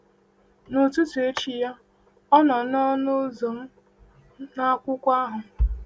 Ụtụtụ echi ya, ọ nọ n’ọnụ ụzọ m na akwụkwọ ahụ.